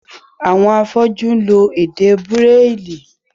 Àwọn afọ́jú ń lo èdè bráìlì.